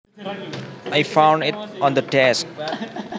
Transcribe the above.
I found it on the desk